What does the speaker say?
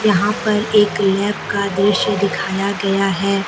यहां पर एक लैब का दृश्य दिखाया गया है।